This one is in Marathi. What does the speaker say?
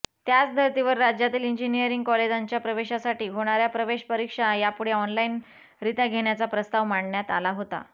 त्याचधर्तीवर राज्यातील इंजिनिअरिंग कॉलेजांच्या प्रवेशासाठी होणार्या प्रवेश परीक्षा यापुढे ऑनलाइनरित्या घेण्याचा प्रस्ताव मांडण्यात आला होता